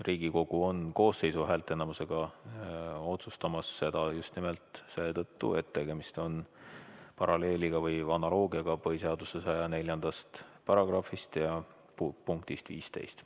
Riigikogu on koosseisu häälteenamusega otsustamas selle eelnõu üle just nimelt seetõttu, et tegemist on analoogse otsusega, nagu on nimetatud põhiseaduse § 104 punktis 15.